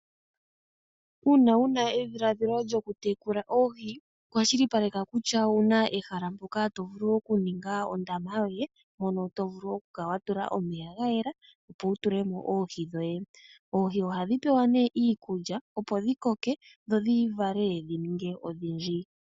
Uuna wu na edhiladhilo lyokutekula oohi kwashilipaleka kutya owu na ehala mpoka to vulu okuninga ondama yoye, mono to vulu okukala wa tula omeya ga yela, opo wu tule mo oohi dhoye. Oohi ohadhi pewa nee iikulya, opo dhi koke, dho dhi vale dhi ninge odhindji.